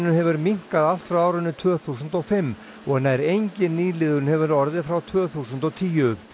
hefur minnkað allt frá árinu tvö þúsund og fimm og nær engin nýliðun hefur orðið frá tvö þúsund og tíu